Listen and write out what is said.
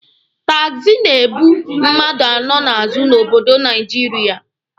Taxi na-ebu mmadụ anọ n'azụ n'obodo Naijiria.